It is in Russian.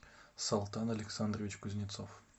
салтан александрович кузнецов